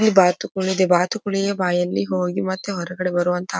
ಈ ಬಾತುಕೋಳಿ ಈ ಬಾತುಕೋಳಿಯ ಬಾಯಲ್ಲಿ ಹೋಗಿ ಮತ್ತೆ ಹೊರಗಡೆ ಬರುವಂತ --